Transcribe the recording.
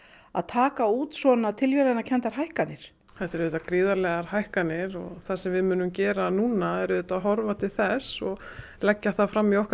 að taka út svona tilviljanakenndar hækkanir þetta eru auðvitað gríðarlegar hækkanir og það sem við munum gera núna er auðvitað að horfa til þess og leggja það fram í okkar